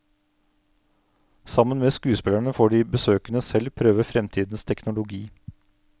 Sammen med skuespillerne får de besøkende selv prøve fremtidens teknologi.